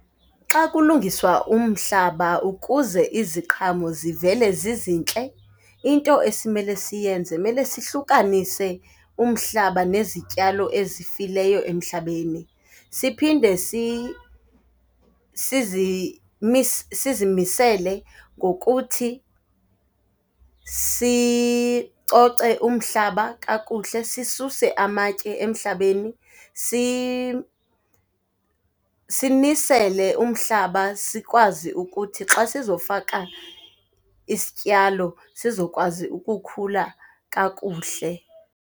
Xa kulungiswa umhlaba ukuze iziqhamo zivele zizintle, into esimele siyenze mele sihlukanise umhlaba nezityalo ezifileyo emhlabeni. Siphinde sizimisele ngokuthi sicoce umhlaba kakhuhle, sisuse amatye emhlabeni, simisele umhlaba sikwazi ukuthi xa sizofaka isityalo, zizokwazi ukukhula kakuhle.